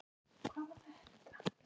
Góður slurkur eftir.